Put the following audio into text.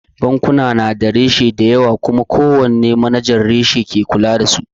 Bankuna na da reshe dayawa kuma ko wanne na manajan reshe ne ke kula da su